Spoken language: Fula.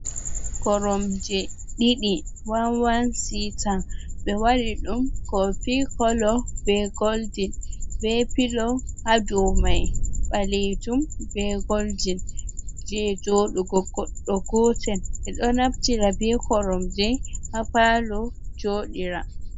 Koromje ɗiɗi, wan-wan sita, ɓe waɗi ɗum kofi kolo, be goldin, be pilo ha dow mai ɓaleejum be goldin, je jooɗugo goɗɗo gootel, ɓe ɗo naftira be koromje ha paalo jooɗira.